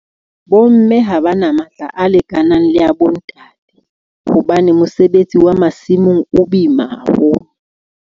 Bo mme ha ba na matla, a lekanang le ya , hobane mosebetsi wa masimong o boima haholo.